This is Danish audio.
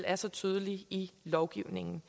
er så tydelig i lovgivningen